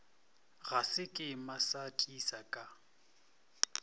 ga sekema sa tisa ka